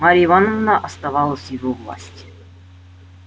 марья ивановна оставалась в его власти